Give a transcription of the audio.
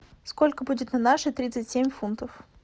сколько будет на наши тридцать семь фунтов